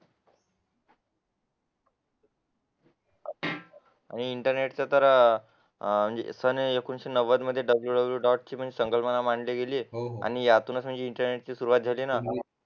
आणि इंटरनेट सन एकोणविशे नव्वद मध्ये WWW डॉट ची संकल्पना मांडली गेली आणि यातून इंटरनेट ची सुरुवात झाली ना